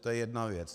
To je jedna věc.